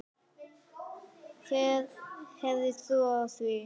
Hver hefði trúað því??